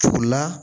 O la